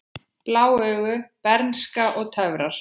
Blá augu, bernska og töfrar